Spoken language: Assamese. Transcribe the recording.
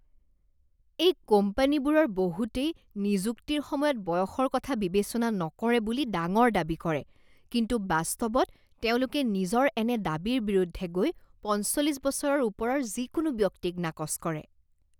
এই কোম্পানীবোৰৰ বহুতেই নিযুক্তিৰ সময়ত বয়সৰ কথা বিবেচনা নকৰে বুলি ডাঙৰ দাবী কৰে কিন্তু বাস্তৱত তেওঁলোকে নিজৰ এনে দাবীৰ বিৰুদ্ধে গৈ পঞ্চল্লিছ বছৰৰ ওপৰৰ যিকোনো ব্যক্তিক নাকচ কৰে।